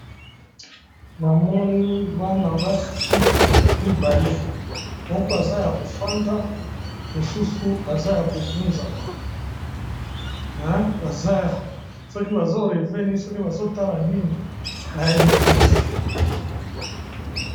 Bamoni bana basi mibale, moko aza ya kofanda mosusu aza ya kogunzama soki bazo rêve nini soki bazotala nini na yebi pe te!